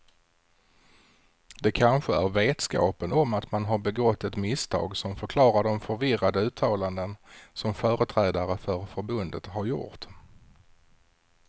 Det kanske är vetskapen om att man har begått ett misstag som förklarar de förvirrade uttalanden som företrädare för förbundet har gjort.